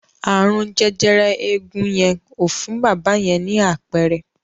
Ààrùn jẹjẹrẹ eegun yẹn ò fún bábà yẹn ni àpẹẹrẹ.